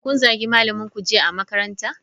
Kun zagi malaminku jiya a makaranta?